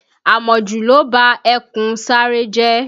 Àmọ̀jù ló ba ẹkùn Sáárẹ́ jẹ́